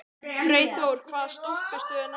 Freyþór, hvaða stoppistöð er næst mér?